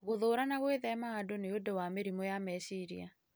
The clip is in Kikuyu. Gũthũũra na gwithema andũ nĩ ũndũ wa mĩrimũ ya meciria